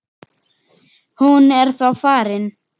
Hún er þá farin.